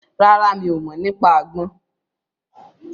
Rárá, mi ò mọ̀ nípa àgbọn